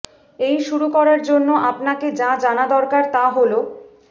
এই শুরু করার জন্য আপনাকে যা জানা দরকার তা হল